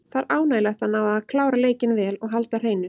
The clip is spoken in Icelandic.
Það er ánægjulegt að ná að klára leikinn vel og halda hreinu.